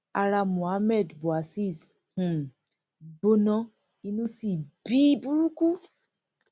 ara cs] mohammed bouazizi um gbóná inú sí bí i burúkú